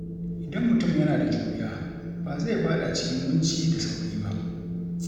Idan mutum yana da juriya, ba zai faɗa cikin kunci da sauri ba.